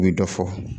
U ye dɔ fɔ